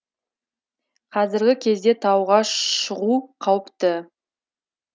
қазіргі кезде тауға шығу қауіпті